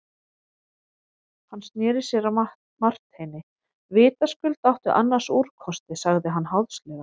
Hann sneri sér að Marteini:-Vitaskuld áttu annars úrkosti, sagði hann háðslega.